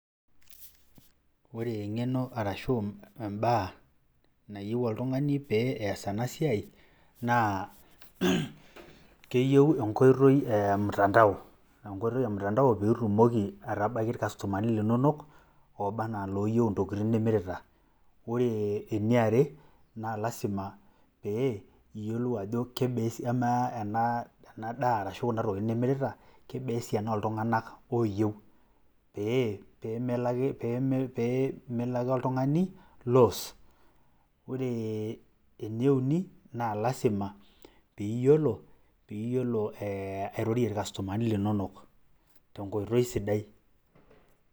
Ore eng'eno arashu imbaa naayieu oltung'ani peyiee ees ena siai naa, keyieu enkoitoi ee mtandao, enkoitoi e mtandao peyie itumoki atabaiki irkastomani linonok ooba aenaa ilooyieu intokitin nimirita. Ore eniare naa lasima pee iyiolou ajo kebaa, kamaa ena daa arashu kuna tokitin nimirita, kebaa esiana oltung'anak ooyieu pee mleo ake oltung'ani lose. Ore ene uni naa lasima piiyiolo airorie irkastomani linonok tenkoitoi sidai.